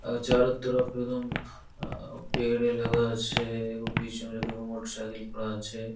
আ চারো তরফ একদম আঁ পেয়ারে লাগা আছে ৷ বিচ মে মোটরসাইকেল পড়ে আছে।